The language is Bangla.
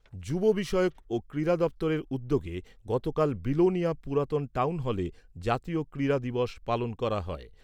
যুব বিষয়ক ও ক্রীড়া দপ্তরের উদ্যোগে গতকাল বিলোনিয়া পুরাতন টাউন হলে জাতীয় ক্রীড়া দিবস পালন করা হয়।